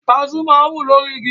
Kaṣú máa ń wù lórí igi.